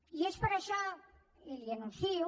i és per això i li ho anuncio